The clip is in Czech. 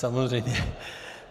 Samozřejmě.